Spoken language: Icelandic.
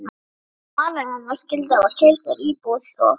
Björg og maðurinn hennar skyldu hafa keypt sér íbúð og